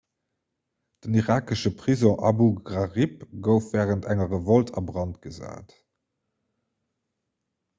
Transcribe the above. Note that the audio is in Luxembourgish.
den irakesche prisong abu ghraib gouf wärend enger revolt a brand gesat